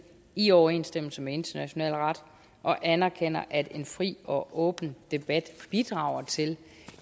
i overensstemmelse med international ret og anerkender at en fri og åben debat bidrager til